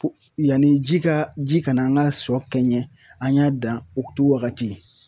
Yanni ji ka ji kana an ka sɔ kɛɲɛ an y'a dan uti wagati.